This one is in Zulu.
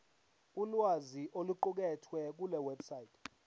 ulwazi oluqukethwe kulewebsite